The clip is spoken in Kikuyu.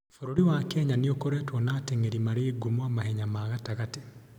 Bũrũri wa Kenya nĩ ũkoretwo na ateng'eri marĩ ngumo a mahenya ma gatagatĩ.